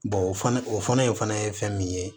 o fana o fana ye fana ye fɛn min ye